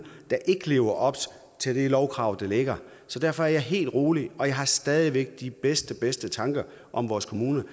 der ikke lever op til de lovkrav der er så derfor er jeg helt rolig og jeg har stadig væk de bedste bedste tanker om vores kommuner i